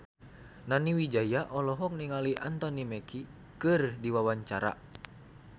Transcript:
Nani Wijaya olohok ningali Anthony Mackie keur diwawancara